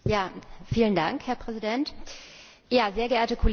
Herr Präsident, sehr geehrte Kolleginnen und Kollegen!